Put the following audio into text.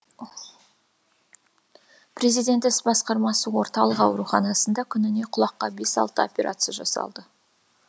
президент іс басқармасы орталығы ауруханасында күніне құлаққа бес алты операция жасалды